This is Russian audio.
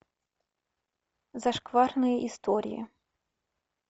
зашкварные истории